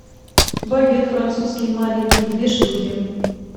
багет французский маленький две штуки